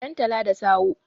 dantata da sawoe